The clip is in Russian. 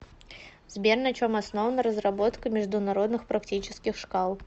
сбер на чем основана разработка международных практических шкал